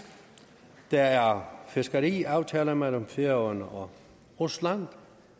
der er fiskeriaftaler mellem færøerne og rusland